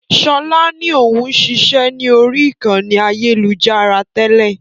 Sọlá ni òun ṣiṣẹ́ ni ori ìkànnì ayélujára tẹ́lẹ̀